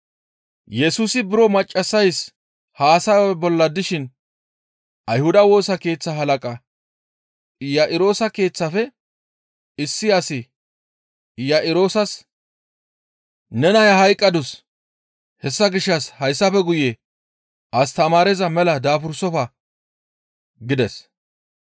Yesusi buro maccassays haasaya bolla dishin Ayhuda Woosa Keeththa halaqa Iya7iroosa keeththafe issi asi Iya7iroosas, «Ne naya hayqqadus; hessa gishshas hayssafe guye astamaareza mela daabursofa!» gides.